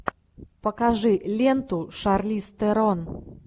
покажи ленту шарлиз терон